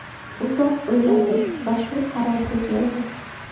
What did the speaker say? Uzoq o‘yladim va shu qarorga keldi.